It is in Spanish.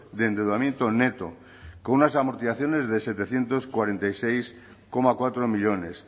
de endeudamiento neto con unas amortizaciones de setecientos cuarenta y seis coma cuatro millónes